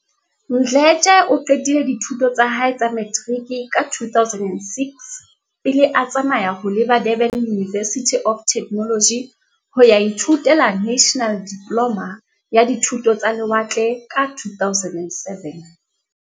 Mdletshe o qetile dithuto tsa hae tsa materiki ka 2006, pele a tsamaya ho leba Durban University of Techno logy ho a ithutela National Diploma ya Dithuto tsa Le watle ka 2007.